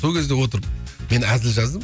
сол кезде отырып мен әзіл жаздым